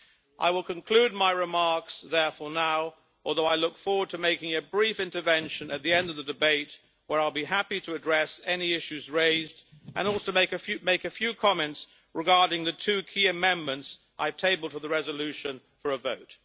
I will conclude my remarks therefore now, although I look forward to making a brief intervention at the end of the debate when I will be happy to address any issues raised, and to make a few comments regarding the two key amendments I have tabled to the resolution for a vote.